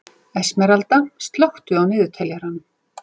Esmeralda, slökktu á niðurteljaranum.